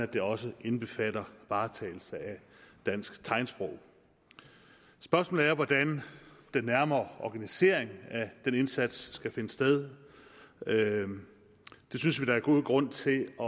det også indbefatter varetagelse af dansk tegnsprog spørgsmålet er hvordan den nærmere organisering af den indsats skal finde sted det synes vi der er god grund til at